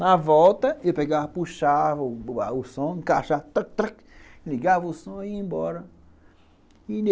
Na volta, eu pegava, puxava o som, encaixava (traque traque), ligava o som e ia embora.